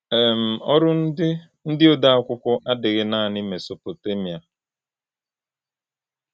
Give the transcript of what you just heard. um Ọrụ ndị ndị ode akwụkwọ adịghị naanị Mesopotemiạ.